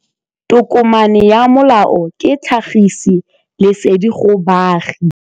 Tokomane ya molao ke tlhagisi lesedi go baagi.